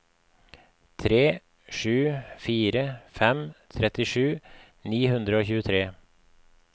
tre sju fire fem trettisju ni hundre og tjuetre